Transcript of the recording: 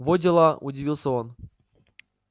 во дела удивился он